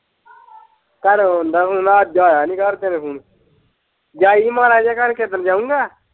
ਘਰੋਂ ਅਉਂਦਾ ਹੀ ਫੂਨ ਅੱਜ ਆਇਆ ਨੀ ਘਰਦਿਆਂ ਦਾ ਫੂਨ ਜਾਈ ਹਾਂ ਮਾੜਾ ਜਿਹਾ ਘਰ ਕੇਹੇ ਦਿਨ ਜਾਊਗਾ।